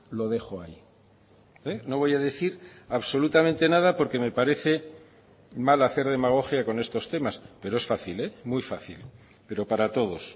lo dejo ahí no voy a decir absolutamente nada porque me parece mal hacer demagogia con estos temas pero es fácil muy fácil pero para todos